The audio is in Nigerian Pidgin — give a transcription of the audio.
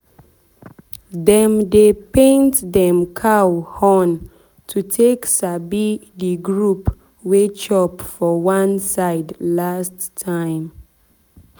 dem dey paint dem cow horn to take sabi the group wey chop for one side last time.